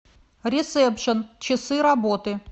ресепшн часы работы